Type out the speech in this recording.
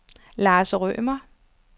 Lars Rømer